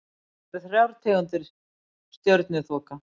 Til eru þrjár tegundir stjörnuþoka.